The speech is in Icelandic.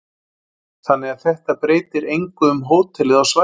Þannig að þetta breytir engu um hótelið á svæðinu?